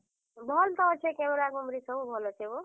ହଁ, ଭଲ ତ ଅଛେ। camera କୁମ୍ ରି ସବୁ ଭଲ ଅଛେ ହୋ।